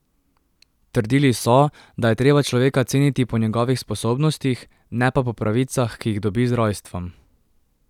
Trdili so, da je treba človeka ceniti po njegovih sposobnostih, ne pa po pravicah, ki jih dobi z rojstvom.